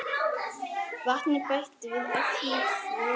Vatni bætt við eftir þörfum.